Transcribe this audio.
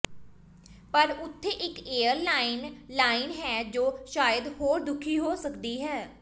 ਪਰ ਉੱਥੇ ਇਕ ਏਅਰ ਲਾਈਨ ਲਾਈਨ ਹੈ ਜੋ ਸ਼ਾਇਦ ਹੋਰ ਦੁਖੀ ਹੋ ਸਕਦੀ ਹੈ